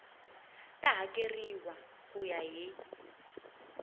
ta hakeriwa ku ya hi